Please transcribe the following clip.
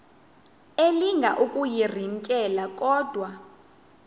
elinga ukuyirintyela kodwa